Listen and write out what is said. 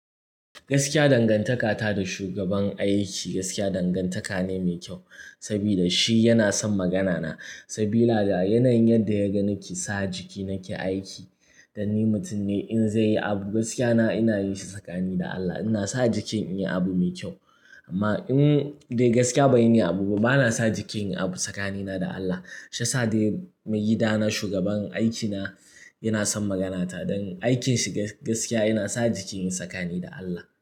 Gaskiya dangantaka ta da shugaban aiki gaskiya dangantaka ne mai kyau saboda shi yana son magana na saboda yadda yaga nake sa jiki nake aiki. Don ni mutum ne in zai yi abu gaskiya na ina yin shi tsakani da Allah ina sa jiki in yi abu mai kyau. Amma eh, ni dai gaskiya in banyi niyyar abu ba bana sa jiki inyi abu tsakani na da Allah. Shiyasa dai maigida na shugaban aikina yana son magana ta don aikin shi gaskiya ina sa jiki inyi tsakani da Allah.